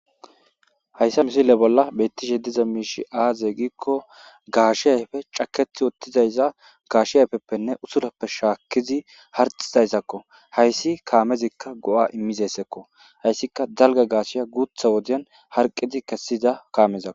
Hayssa misile bolla beittishe diza miishi aaze giikko gaashi hayfe cakethi ottizayza gaashi ayfeppenne usurappe shaakkizi harxizayzakko hayssi kaamezikka go7a immizayssakko hayssika dalga gaashiya guutha wodian harqizi kessida kaamezako.